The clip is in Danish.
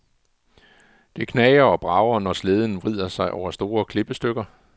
Det knager og brager, når slæden vrider sig over store klippestykker.